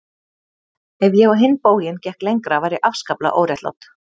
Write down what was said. Ef ég á hinn bóginn gekk lengra var ég afskaplega óréttlát.